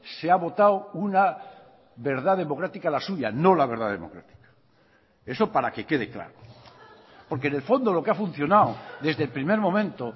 se ha votado una verdad democrática la suya no la verdad democrática eso para que quede claro porque en el fondo lo que ha funcionado desde el primer momento